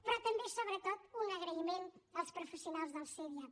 però també sobretot un agraïment als professionals dels cdiap